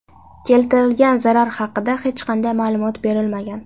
Keltirilgan zarar hadida hech qanday ma’lumot berilmagan.